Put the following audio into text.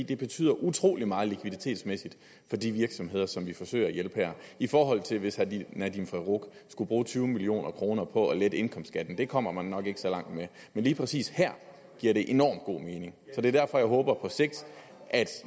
det betyder utrolig meget likviditetsmæssigt for de virksomheder som vi forsøger at hjælpe her i forhold til hvis herre nadeem farooq skulle bruge tyve million kroner på at lette indkomstskatten det kommer man nok ikke så langt med men lige præcis her giver det enormt god mening og det er derfor jeg håber at